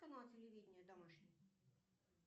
канал телевидения домашний